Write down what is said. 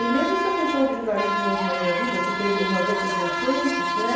E mesmo essa questão do judaísmo hoje na minha vida, que teve umas outras vertentes, né?